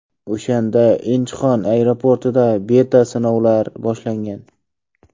O‘shanda Inchxon aeroportida beta-sinovlar boshlangan.